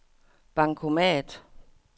bankomat